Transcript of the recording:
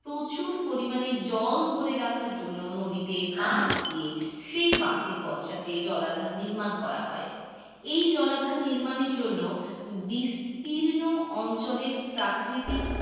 প্রচুর পরিমানে জল ধরে রাখার জন্য নদীতে বাঁধ দিয়ে সেই বাঁধের পশ্চাতে জলাধার নির্মান করা হয়. এই জলাধার নির্মানের জন্য বিস্তীর্ণ অঞ্চলের প্রাকৃতিক,